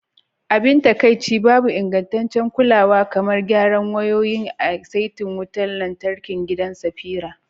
Abin takaici, babu ingantaccen kulawa kamar gyara wayoyin a saitin wutar lantarkin gidan Safira.